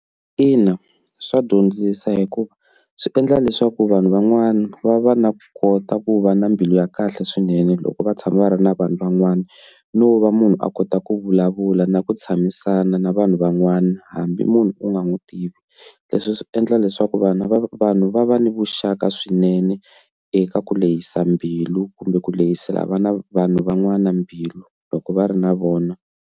Ina, swa dyondzisa hikuva swi endla leswaku vanhu van'wana va va na kota ku va na mbilu ya kahle swinene loko va tshama va ri na vanhu van'wana no va munhu a kota ku vulavula na ku tshamisana na vanhu van'wana hambi munhu u nga n'wi tivi, leswi swi endla leswaku vanhu vanhu va va ni vuxaka swinene eka ku lehisa mbilu kumbe ku lehisela vana vanhu van'wana mbilu loko va ri na vona.